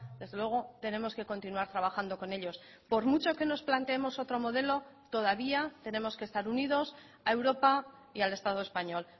desde luego tenemos que continuar trabajando con ellos por mucho que nos planteemos otro modelo todavía tenemos que estar unidos a europa y al estado español